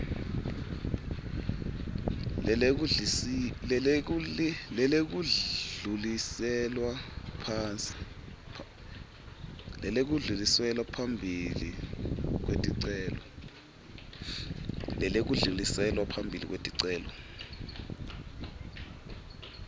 lelekudluliselwa phambili kweticelo